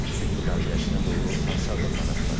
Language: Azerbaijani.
Sülh müqaviləsinə doğru hansı addımlar atılacaq?